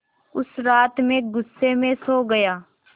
उस रात मैं ग़ुस्से में सो गया